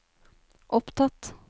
opptatt